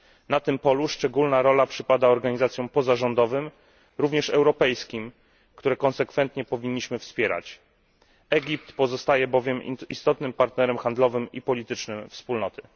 Na tym polu szczególna rola przypada organizacjom pozarządowym, również europejskim, które konsekwentnie powinniśmy wspierać, gdyż Egipt pozostaje istotnym partnerem handlowym i politycznym Wspólnoty.